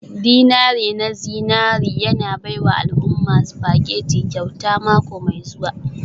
dinari na zinari yana baiwa al'umma spaghetti kyauta mako mai zuwa.